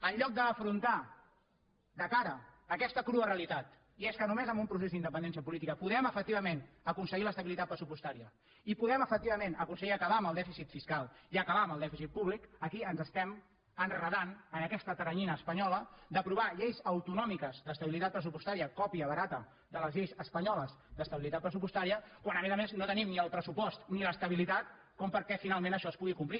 en lloc d’afrontar de cara aquesta crua realitat i és que només amb un procés d’independència política podem efectivament aconseguir l’estabilitat pressupostària i podem efectivament aconseguir acabar amb el dèficit fiscal i acabar amb el dèficit públic aquí ens estem enredant en aquesta teranyina espanyola d’aprovar lleis autonòmiques d’estabilitat pressupostària còpia barata de les lleis espanyoles d’estabilitat pressupostària quan a més a més no tenim ni el pressupost ni l’estabilitat perquè finalment això es pugui complir